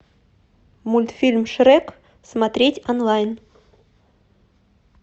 мультфильм шрек смотреть онлайн